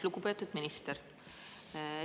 Lugupeetud minister!